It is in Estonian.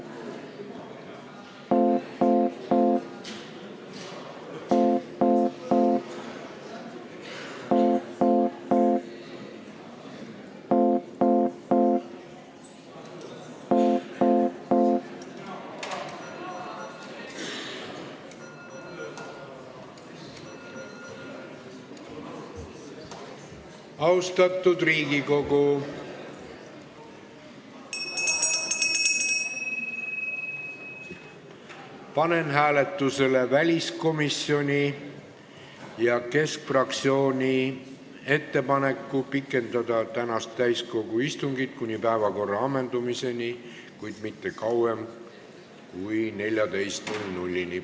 Austatud Riigikogu, panen hääletusele väliskomisjoni ja Keskerakonna fraktsiooni ettepaneku pikendada tänast täiskogu istungit kuni päevakorra ammendamiseni, kuid mitte kauem kui kella 14-ni.